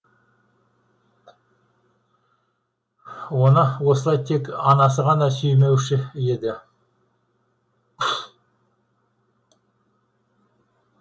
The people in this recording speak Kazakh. оны осылай тек анасы ғана сүймеуші еді